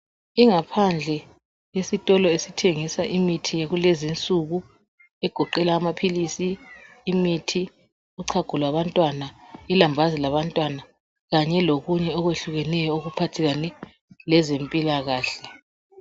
Ingaphandle yakulezinsuku esithengisa imithi, amaphilisi kanye lochago lwabantwana ,ilambazi labantwana kanye lokunye okuhlukeneyo okuphathelane lempilakahle .